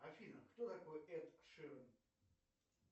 афина кто такой эд ширан